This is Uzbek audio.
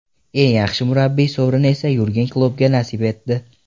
Eng yaxshi murabbiy sovrini esa Yurgen Kloppga nasib etdi.